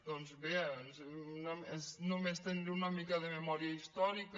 doncs bé és només tenir una mica de memòria històrica